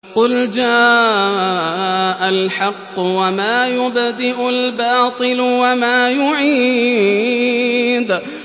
قُلْ جَاءَ الْحَقُّ وَمَا يُبْدِئُ الْبَاطِلُ وَمَا يُعِيدُ